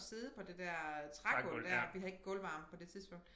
At sidde på det der øh trægulv dér vi havde ikke gulvarme på det tidspunkt